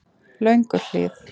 Lönguhlíð